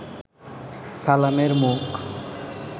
সালামের মুখ